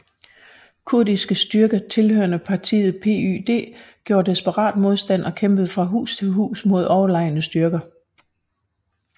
Kurdiske styrker tilhørende partiet PYD gjorde desperat modstand og kæmpede fra hus til hus mod overlegne styrker